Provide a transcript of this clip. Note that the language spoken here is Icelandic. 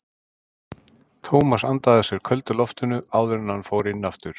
Tómas andaði að sér köldu loftinu áður en hann fór inn aftur.